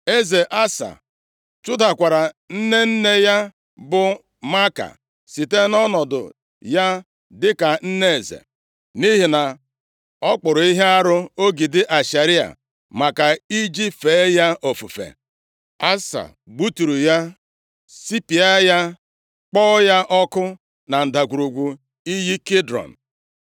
Eze Asa chụdakwara nne nne ya bụ Maaka, site nʼọnọdụ ya dịka nne eze, nʼihi na ọ kpụrụ ihe arụ, ogidi Ashera maka iji fee ya ofufe. Asa gbuturu ya, sụpịa ya, kpọọ ya ọkụ na ndagwurugwu iyi Kidrọn.